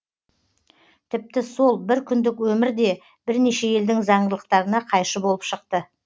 тіпті сол бір күндік өмір де бірнеше елдің заңдылықтарына қайшы болып шықты